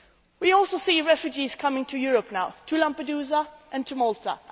to go. We are also seeing refugees coming to Europe now to Lampedusa and